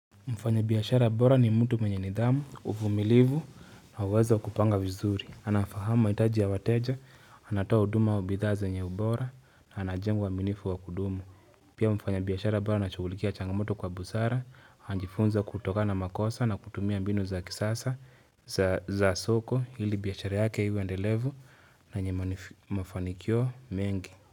Mfanya biashara bora ni mtu mwenye nidhamu, uvumilivu na uwezo wa kupanga vizuri. Anafahamu mahitaji ya wateja, anatoa huduma wa bidhaa zenye ubora na anajenga uaminifu wa kudumu. Pia mfanya biiashara bora anashugulikia changamoto kwa busara, anajifunza kutoka na makosa na kutumia mbinu za kisasa za soko hili biashara yake iwe endelevu na yenye mafanikio mengi.